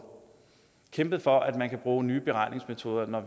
kæmpet for at man kan bruge nye beregningsmetoder når